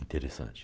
Interessante.